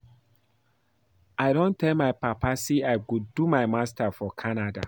I don tell my Papa say I go do my Masters for Canada